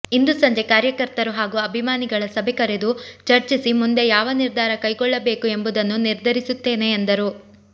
ಇಂದು ಸಂಜೆ ಕಾರ್ಯಕರ್ತರು ಹಾಗೂ ಅಭಿಮಾನಿಗಳ ಸಭೆ ಕರೆದು ಚರ್ಚಿಸಿ ಮುಂದೆ ಯಾವ ನಿರ್ಧಾರ ಕೈಗೊಳ್ಳಬೇಕು ಎಂಬುದನ್ನು ನಿರ್ಧರಿಸುತ್ತೇನೆ ಎಂದರು